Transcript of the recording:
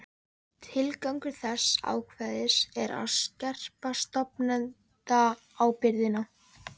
Tilgangur þessa ákvæðis er sá að skerpa stofnendaábyrgðina.